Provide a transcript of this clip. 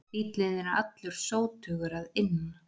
Bíllinn er allur sótugur að innan